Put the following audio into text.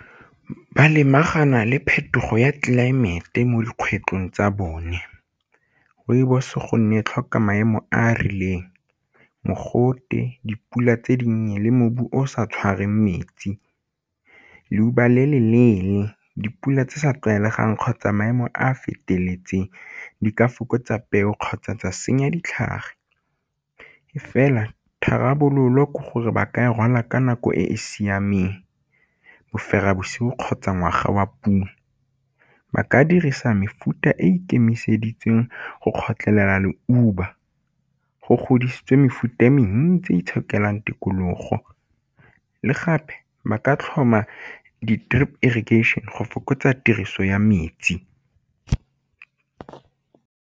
Ba lebagana le phetogo ya tlelaemete mo dikgwetlhong tsa bone, rooibos gonne tlhoka maemo a a rileng mogote, dipula tse di nnye le mobu o o sa tshwareng metsi. Leuba le le leele, dipula tse sa tlwaelegang kgotsa maemo a a feteletseng di ka fokotsa peo kgotsa tsa senya ditlhare e fela tharabololo ke gore ba ka e rwala ka nako e e siameng bosigo kgotsa ngwaga wa puo. Ba ka dirisa mefuta e ikemiseditseng go kgotlhela leuba, go godisitswe mefuta e mentsi itshokelang tikologo le gape ba ka tlhoma di-drip irrigation go fokotsa tiriso ya metsi.